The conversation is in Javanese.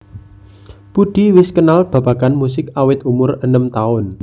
Budi wis kenal babagan musik awit umur enem taun